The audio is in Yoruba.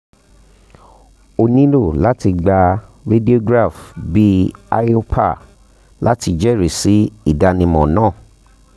o um nilo lati gba radiograph bi iopar lati jẹrisi idanimọ naa